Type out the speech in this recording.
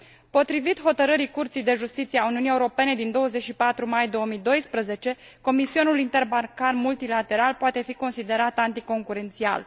Potrivit Hotărârii Curții de Justiție a Uniunii Europene din 24 mai 2012, comisionul interbancar multilateral poate fi consider anticoncurențial.